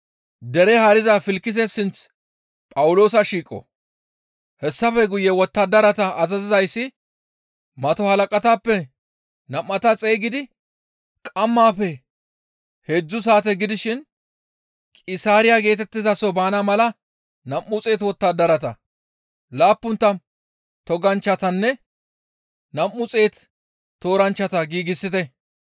Hessafe guye wottadarata azazizayssi mato halaqatappe nam7ata xeygidi, «Qammaafe heedzdzu saate gidishin Qisaariya geetettizaso baana mala nam7u xeetu wottadarata, laappun tammu toganchchatanne nam7u xeetu tooranchchata giigsite;